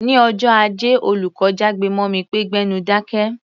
Ní ọjọ́ Ajé, olùkọ́ jágbe mọ́ mi pé "gbẹ́nu dákẹ́!"